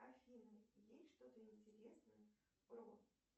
афина есть что то интересное о